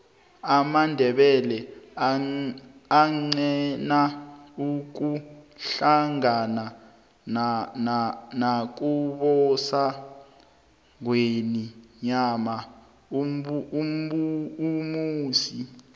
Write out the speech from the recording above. amandebele agqina ukuhlangana nakubusa ingwenyama umusi